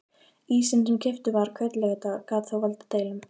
Ísinn sem keyptur var hvern laugardag gat þó valdið deilum.